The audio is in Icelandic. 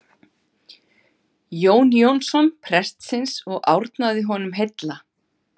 Jón Jónsson prestsins og árnaði honum heilla.